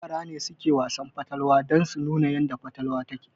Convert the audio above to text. Yara ne suke Wasan fatalwa dan su nuna yadda fatalwa yake